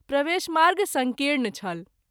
प्रवेश मार्ग संकीर्ण छल।